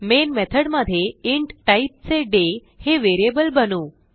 main method मध्ये int टाईपचे डे हे व्हेरिएबल बनवू